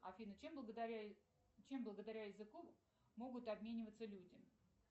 афина чем благодаря языку могут обмениваться люди